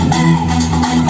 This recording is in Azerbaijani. Hey, sən!